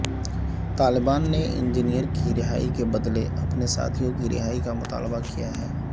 طالبان نے انجینئر کی رہائی کے بدلے اپنے ساتھیوں کی رہائی کا مطالبہ کیا ہے